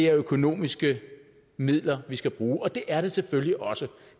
økonomiske midler vi skal bruge og det er det selvfølgelig også